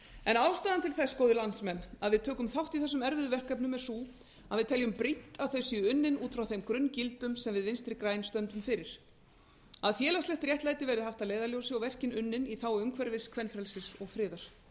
en ástæðan til þess góðir landsmenn að við tökum þátt í þessum erfiðu verkefnum er sú að við teljum brýnt að þau séu unnin út frá þeim grunngildum sem við vinstri græn stöndum fyrir að félagslegt réttlæti verði haft að leiðarljósi og verkin unnin í þágu umhverfis kvenfrelsis og friðar